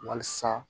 Walasa